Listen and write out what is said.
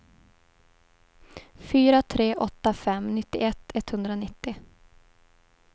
fyra tre åtta fem nittioett etthundranittio